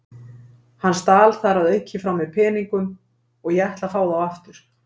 Hann stal þar að auki frá mér peningum og ég ætla að fá þá aftur.